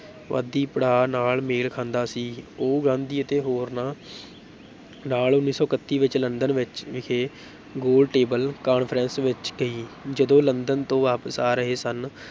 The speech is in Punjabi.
ਵਾਦੀ ਪੜਾਅ ਨਾਲ ਮੇਲ ਖਾਂਦਾ ਸੀ, ਉਹ ਗਾਂਧੀ ਅਤੇ ਹੋਰਨਾਂ ਨਾਲ ਉੱਨੀ ਸੌ ਇਕੱਤੀ ਵਿੱਚ ਲੰਡਨ ਵਿੱਚ ਵਿਖੇ ਗੋਲ table conference ਵਿੱਚ ਗਈ, ਜਦੋਂ ਲੰਦਨ ਤੋਂ ਵਾਪਸ ਆ ਰਹੇ ਸਨ